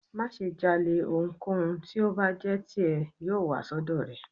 Maṣe jalè, ohúnkohún ti o bá jé tí e, yoo wa si ọdọ rẹ